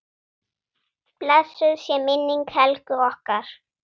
Blessuð sé minning Helgu okkar.